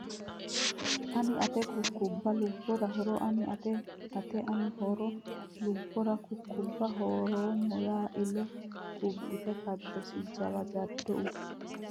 ane Ate kukkubbe Lubbera hoora ane Ate Ate ane hoora Lubbera kukkubbe Hoorama ya ile Kubbite kaddosi jawa jaddo ubbe !